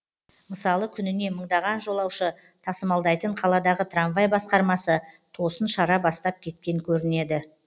мысалы күніне мыңдаған жолаушы тасымалдайтын қаладағы трамвай басқармасы тосын шара бастап кеткен көрінеді